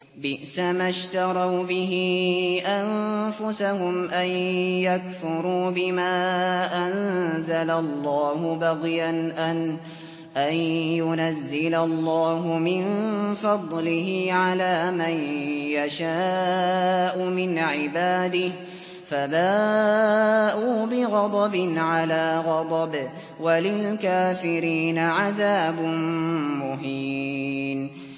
بِئْسَمَا اشْتَرَوْا بِهِ أَنفُسَهُمْ أَن يَكْفُرُوا بِمَا أَنزَلَ اللَّهُ بَغْيًا أَن يُنَزِّلَ اللَّهُ مِن فَضْلِهِ عَلَىٰ مَن يَشَاءُ مِنْ عِبَادِهِ ۖ فَبَاءُوا بِغَضَبٍ عَلَىٰ غَضَبٍ ۚ وَلِلْكَافِرِينَ عَذَابٌ مُّهِينٌ